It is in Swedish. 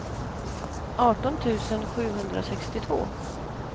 arton tusen sjuhundrasextiotvå